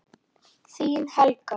Þín Helga.